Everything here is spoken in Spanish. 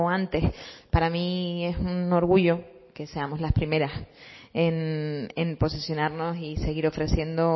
antes para mí es un orgullo que seamos las primeras en posicionarnos y seguir ofreciendo